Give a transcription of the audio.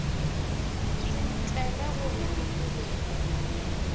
se ntšwele gore ke kolobe